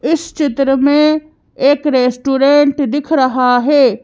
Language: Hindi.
इस चित्र में एक रेस्टोरेंट दिख रहा हैं।